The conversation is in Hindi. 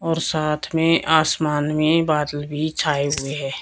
और साथ में आसमान में बादल भी छाए हुए हैं।